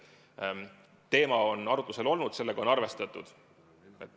Aga teema on arutusel olnud, sellega on arvestatud.